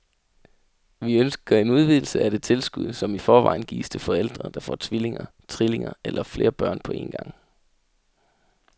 Vi ønsker en udvidelse af det tilskud, som i forvejen gives til forældre, der får tvillinger, trillinger eller flere børn på en gang.